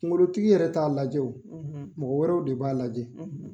Kunkolotigi yɛrɛ t'a lajɛ wo mɔgɔ wɛrɛ de b'a lajɛ.